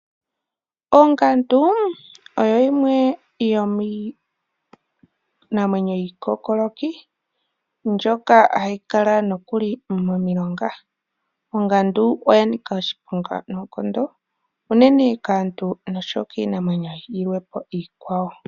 Ongandu oyo yimwe yomiinamwenyo iikokoloki, nohayi kala nokuli momilonga, ongandu oya nika oshiponga nookondo unene kaantu niinamwenyo iikwawo.